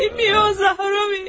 Bilmirəm, Zaharoviç.